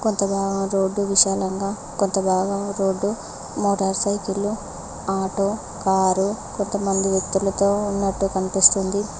కొంతభాగం road విశాలంగా కొంత భాగం రోడ్డు మోటార్ సైకిళ్ళు ఆటో కారు కొంతమంది వ్యక్తులతో ఉన్నట్టు కనిపిస్తుంది.